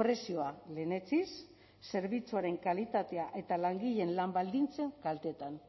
prezioa lehenetsiz zerbitzuaren kalitatea eta langileen lan baldintzen kaltetan